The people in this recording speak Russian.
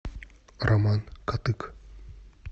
роман кадык